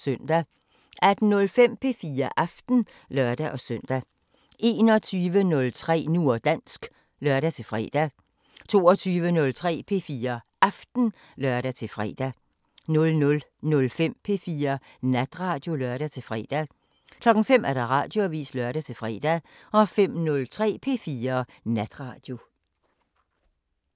18:05: P4 Aften (lør-søn) 21:03: Nu og dansk (lør-fre) 22:03: P4 Aften (lør-fre) 00:05: P4 Natradio (lør-fre) 05:00: Radioavisen (lør-fre) 05:03: P4 Natradio